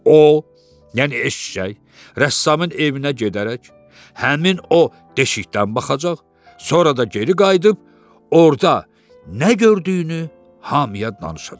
O, yəni eşşək, rəssamın evinə gedərək, həmin o deşikdən baxacaq, sonra da geri qayıdıb orda nə gördüyünü hamıya danışacaq.